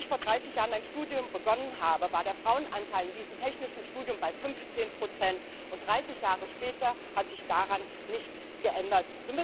Als ich vor 30 Jahren mein Studium begonnen habe, war der Frauenanteil in diesem technischen Studium bei 15 und 30 Jahre später hat sich daran nichts geändert.